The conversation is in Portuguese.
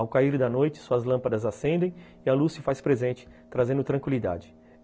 Ao cair da noite, suas lâmpadas acendem e a luz se faz presente, trazendo tranquilidade.